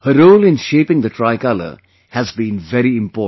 Her role in shaping the Tricolor has been very important